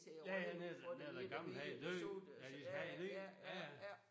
Ja ja når når den gamle han er død ja de skal have en ny ja ja